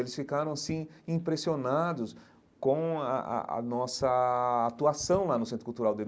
Eles ficaram, assim, impressionados com a a a nossa atuação lá no centro cultural deles.